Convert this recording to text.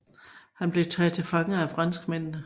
Han blev taget til fange af franskmændene